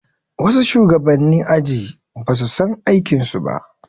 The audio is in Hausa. Wasu shugabanni aji basu san aikin su ba